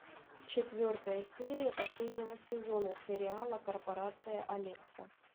четвертая серия последнего сезона сериала корпорация алекса